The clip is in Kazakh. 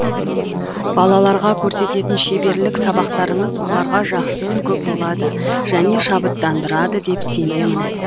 балаларға көрсететін шеберлік сабақтарыңыз оларға жақсы үлгі болады және шабыттандырады деп сенемін